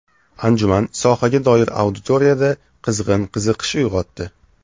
Anjuman sohaga doir auditoriyada qizg‘in qiziqish uyg‘otdi.